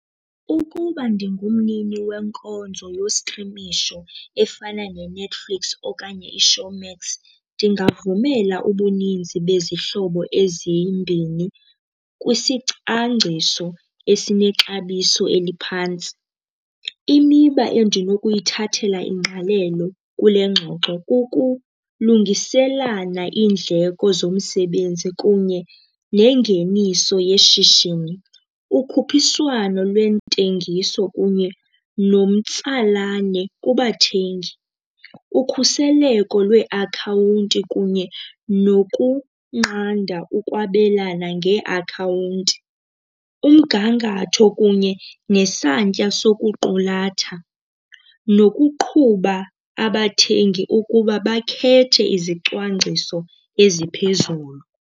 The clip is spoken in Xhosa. Ukuba ndingumnini wenkonzo yostrimisho efana neNetflix okanye iShowmax ndingavumela ubuninzi bezihlobo ezimbini kwisicwangciso esinexabiso eliphantsi. Imiba endinokuyithathela ingqalelo kule ngxoxo kukulungiselana iindleko zomsebenzi kunye nengeniso yeshishini. Ukhuphiswano lweentengiso kunye nomtsalane kubathengi, ukhuseleko lweeakhawunti kunye nokunqanda ukwabelana ngeeakhawunti. Umgangatho kunye nesantya sokuqulatha nokuqhuba abathengi ukuba bakhethe izicwangciso eziphezulu.